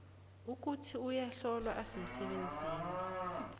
ukuthi uyahlolwa asemsebenzini